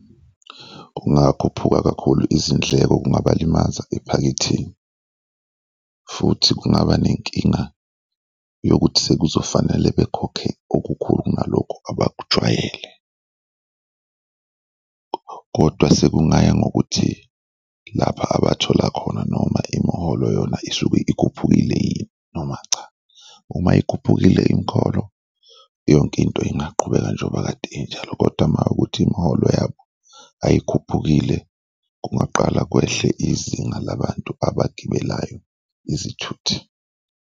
Kungakhuphuka kakhulu izindleko, kungabalimaza ephaketheni futhi kungaba nenkinga yokuthi sekuzofanele bekhokhe okukhulu kunalokho abakujwayele kodwa sekungaya ngokuthi lapha abathola khona noma imiholo yona isuke ikhuphukile yini noma cha. Uma ikhuphukile imikholo, yonke into ingaqhubeka njengoba kade injalo kodwa mawukuthi imiholo yabo ayikhuphukile, kungaqala kwehle izinga labantu abagibelayo izithuthi.